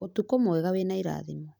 ũtukũ mwega wĩna irathimo